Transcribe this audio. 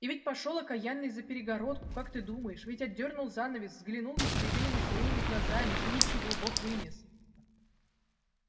и ведь пошёл окаянный за перегородку как ты думаешь ведь отдёрнул занавес взглянул ястребиными своими глазами и ничего бог вынес